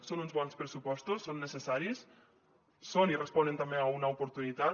són uns bons pressupostos són necessaris són i responen també a una oportunitat